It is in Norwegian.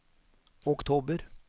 oktober